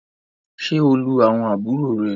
ṣe o lù àwọn àbúrò rẹ!